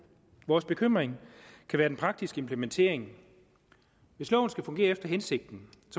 vores bekymring kan være den praktiske implementering hvis loven skal fungere efter hensigten